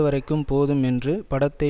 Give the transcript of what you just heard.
வரைக்கும் போதும் என்று படத்தை